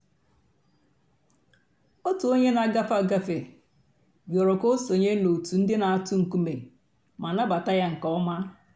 ọ̀tù ònyè nà-àgàfé àgàfé rị̀ọrọ̀ kà ò sọǹyé n'òtù ńdí nà-àtụ̀ ńkùmé̀ mà nàbàtà yà nke ǒmà.